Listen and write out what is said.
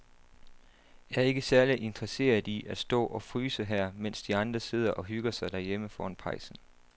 Jeg er ikke særlig interesseret i at stå og fryse her, mens de andre sidder og hygger sig derhjemme foran pejsen.